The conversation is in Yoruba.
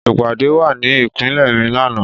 Ìpàdé wà ní ìpínlẹ̀ mi lánàá